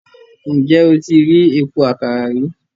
Ǹjẹ́ o ti rí epo àkàrà rí?